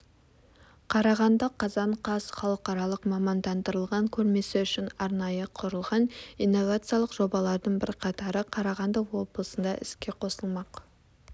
қарағанды қазан қаз халықаралық мамандандырылған көрмесі үшін арнайы құрылған инновациялық жобалардың бірқатары қарағанды облысында іске қосылмақ